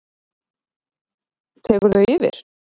tekur þau yfir?